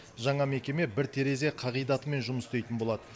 жаңа мекеме бір терезе қағидатымен жұмыс істейтін болады